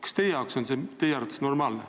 Kas teie arvates on see normaalne?